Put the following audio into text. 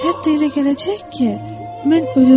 Hətta elə gələcək ki, mən ölürəm.